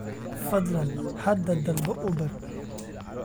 fadlan hadda dalbo uber